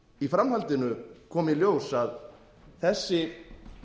í framhaldinu kom í ljós að þessi